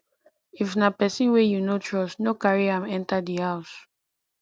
if na person wey you no trust no carry am enter di house